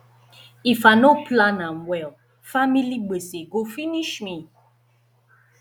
if i no plan am well family gbese go finish me